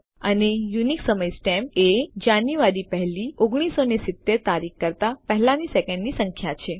અને યુનિક સમય સ્ટેમ્પ એ જાન્યુઆરી 1 લી 1970 તારીખ કરતા પહેલાંની સેકન્ડની સંખ્યા છે